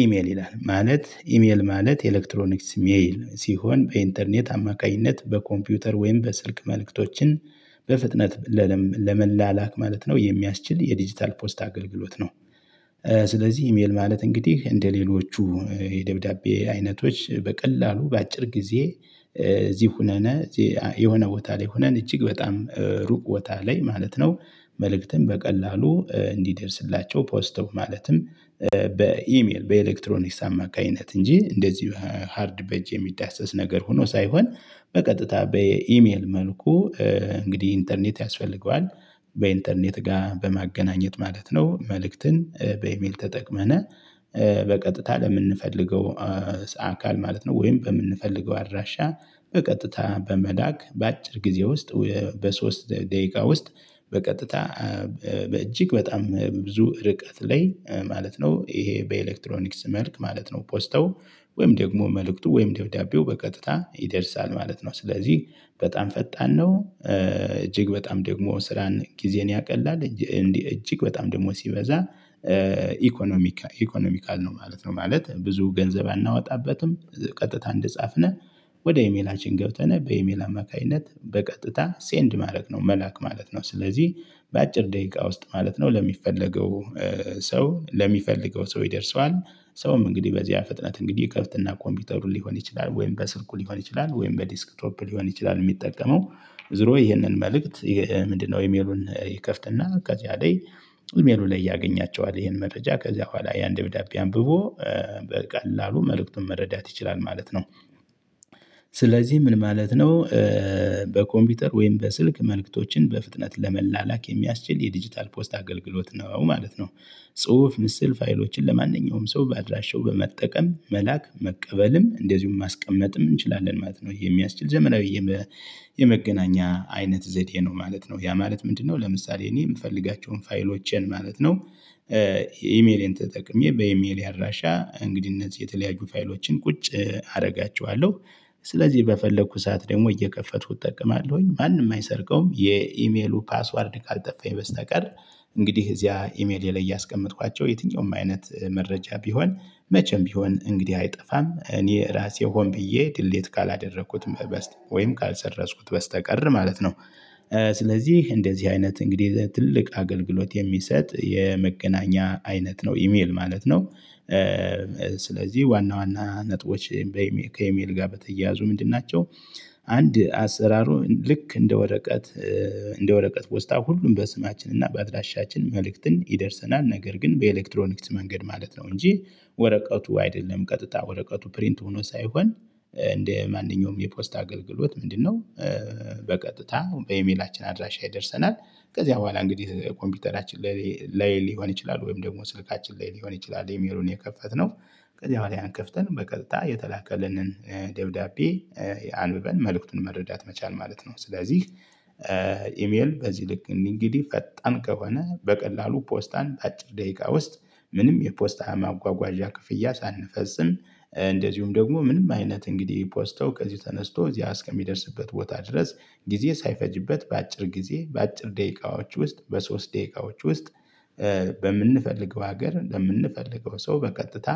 ኢሜል ይላል ማለት ኢሜል ማለት ኤሌክትሮኒክስ ሜል ሲሆን በኢንተርኔት አማካኝነት በኮምፒውተር ወይም በስልክ መልእክቶችን በፍጥነት ለመላላክ ማለት ነው የሚያስችል የዲጂታል ፖስት አገልግሎት ነው። ስለዚህ ኢሜል ማለት እንግዲህ እንደሌሎቹ የደብዳቤ አይነቶች በቀላሉ በአጭር ጊዜ እዚህ ሆነን የሆነ ቦታ ላይ ሆነን እጅግ በጣም ሩቅ ቦታ ላይ ማለት ነው። መልእክትን በቀላሉ እንዲደርስላቸው ፖስትም ማለትም በኢሜል በኤሌክትሮኒክስ አማካኝነት እንጂ እንደዚህ ሃርድ በጅ የሚዳሰስ ነገር ሆኖ ሳይሆን በቀጥታ በኢሜል መልኩ እንግዲህ ኢንተርኔት ያስፈልገዋል። በኢንተርኔት ጋር በማገናኘት ማለት ነው መልእክትን በኢሜል ተጠቅመነ በቀጥታ ለምንፈልገው አካል ማለት ነው። ወይም በምንፈልገው አድራሻ በቀጥታ በመላክ በአጭር ጊዜ ውስጥ በሶስት ደቂቃ ውስጥ በቀጥታ በእጅግ በጣም ብዙ ርቀት ላይ ማለት ነው ይሄ በኤሌክትሮኒክስ መልክ ማለት ነው። ፖስተው ወይም ደግሞ መልእክቱ ወይም ደብዳቤው በቀጥታ ይደርሳል ማለት ነው። ስለዚህ በጣም ፈጣን ነው እጅግ በጣም ደግሞ ስራን ጊዜን ያቀላል እንዲህ እጅግ በጣም ደግሞ ሲበዛ ኢኮኖሚካል ኢኮኖሚካል ነው ማለት ነው ማለት ብዙ ገንዘብ አናወጣበትም። ቀጥታ እንደጻፍነህ ወደ ኢሜላችን ገብተነህ በኢሜል አማካኝነት በቀጥታ ሴንድ ማድረግ ነው መላክ ማለት ነው። ስለዚህ በአጭር ደቂቃ ውስጥ ማለት ነው ለሚፈለገው ሰው ለሚፈልገው ሰው ይደርሰዋል። ሰውም እንግዲህ በዚህ ፍጥነት እንግዲህ ከፍትና ኮምፒውተሩን ሊሆን ይችላል ወይም በስልኩ ሊሆን ይችላል ወይም በዲስክት ቶፕ ሊሆን ይችላል የሚጠቀመው ዞሮ ይሄንን መልእክት ምንድነው ኢሜሉን ይከፍትና ከዚያ ላይ ኢሜሉ ላይ ያገኛቸዋል ይሄን መጠጃ ከዚያ በኋላ ያን ደብዳቤ አንብቦ በቀላሉ መልእክቱን መረዳት ይችላል ማለት ነው። ስለዚህ ምን ማለት ነው? በኮምፒውተር ወይም በስልክ መልእክቶችን በፍጥነት ለመላላክ የሚያስችል የዲጂታል ፖስት አገልግሎት ነው ማለት ነው። ጽሁፍ ምስል ፋይሎችን ለማንኛውም ሰው ባድራሸው በመጠቀም መላክ መቀበልም እንደዚሁም ማስቀመጥም እንችላለን ማለት ነው። የሚያስችል ዘመናዊ የመገናኛ አይነት ዘዴ ነው ማለት ነው። ያ ማለት ምንድነው ለምሳሌ እኔ የምፈልጋቸውን ፋይሎቼን ማለት ነው። ኢሜሌን ተጠቅሜ በኢሜሌ አድራሻ እንግዲህ እነዚህ የተለያዩ ፋይሎችን ቁጭ አደርጋቸዋለሁ ስለዚህ በፈለኩ ሰዓት ደግሞ እየከፈቱ እጠቀማለሁኝ ማንም አይሰርቀውም የኢሜሉ ፓስወርድ ካልጠፋኝ በስተቀር። እንግዲህ እዚያ ኢሜሌ ላይ እያስቀመጥኳቸው የትኛውም አይነት መረጃ ቢሆን መቼም ቢሆን እንግዲህ አይጠፋም እኔ ራሴ ሆኜ ድሌት ካላደረኩትም በስት ወይም ካልሰረዝኩት በስተቀር ማለት ነው። ስለዚህ እንደዚህ አይነት እንግዲህ ትልቅ አገልግሎት የሚሰጥ የመገናኛ አይነት ነው ኢሜል ማለት ነው። ስለዚህ ዋና ዋና ነጥቦች ከኢሜል ጋር በተያያዙ ምንድን ናቸው? አንድ አሰራሩ ልክ እንደ ወረቀት እንደ ወረቀት ፖስታ ሁሉም በስማችን እና በአድራሻችን መልእክትን ይደርሰናል ነገር ግን በኤሌክትሮኒክስ መንገድ ማለት ነው እንጂ ወረቀቱ አይደለም ቀጥታ ወረቀቱ ፕሪንት ሆኖ ሳይሆን እንደ ማንኛውም የፖስታ አገልግሎት ምንድነው በቀጥታ በኤሜላችን አድራሻ ይደርሰናል። ከዚያ በኋላ እንግዲህ ኮምፒውተራችን ላይ ሊሆን ይችላል ወይም ደግሞ ስልካችን ላይ ሊሆን ይችላል የሚሉን የከፈትነው ከዚያ በኋላ ያን ከፍተን በቀጥታ የተላከልንን ደብዳቤ አንብበን መልእክቱን መረዳት መቻል ማለት ነው። ስለዚህ ኢሜል በዚህ ልክ እንግዲህ ፈጣን ከሆነ በቀላሉ ፖስታን በአጭር ደቂቃ ውስጥ ምንም የፖስታ ማጓጓዣ ክፍያ ሳንፈጽም እንደዚሁም ደግሞ ምንም አይነት እንግዲህ ፖስተው ከዚህ ተነስቶ እዚያ እስከሚደርስበት ቦታ ድረስ ጊዜ ሳይፈጅበት በአጭር ጊዜ በአጭር ደቂቃዎች ውስጥ በሶስት ደቂቃዎች ውስጥ። በምንፈልገው ሀገር ለምንፈልገው ሰው በቀጥታ